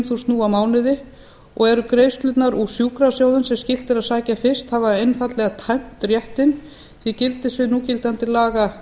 þúsund nú á mánuði og eru greiðslurnar úr sjúkrasjóðum sem skylt er að sækja fyrst hafa einfaldlega tæmt réttinn því gildissvið núgildandi laga